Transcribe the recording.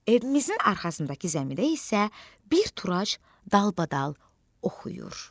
Evimizin arxasındakı zəmidə isə bir turac dalbadal oxuyur.